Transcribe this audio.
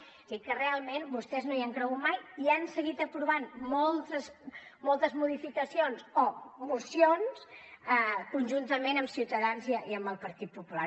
és a dir que realment vostès no hi han cregut mai i han seguit aprovant moltes modificacions o mocions conjuntament amb ciutadans i amb el partit popular